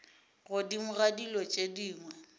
godimo ga dilo tše dingwe